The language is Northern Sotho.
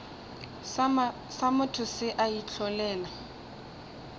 sa motho se a itlholela